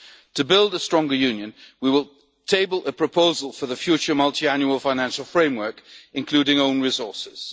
requirements. To build a stronger Union, we will table a proposal for the future multiannual financial framework, including